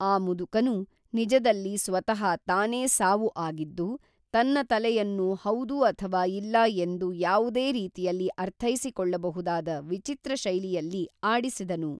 ಆ ಮುದುಕನು--ನಿಜದಲ್ಲಿ ಸ್ವತಃ ತಾನೇ ಸಾವು ಆಗಿದ್ದು, ತನ್ನ ತಲೆಯನ್ನು ಹೌದು ಅಥವಾ ಇಲ್ಲ ಎಂದು ಯಾವುದೇ ರೀತಿಯಲ್ಲಿ ಅರ್ಥೈಸಿಕೊಳ್ಳಬಹುದಾದ ವಿಚಿತ್ರ ಶೈಲಿಯಲ್ಲಿ ಆಡಿಸಿದನು.